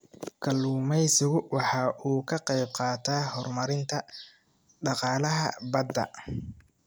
Kalluumaysigu waxa uu ka qayb qaataa horumarinta dhaqaalaha badda.